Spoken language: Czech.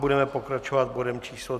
Budeme pokračovat bodem číslo